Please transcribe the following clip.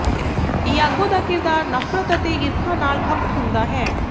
Iago ਦਾ ਕਿਰਦਾਰ ਨਫ਼ਰਤ ਅਤੇ ਈਰਖਾ ਨਾਲ ਖਪਤ ਹੁੰਦਾ ਹੈ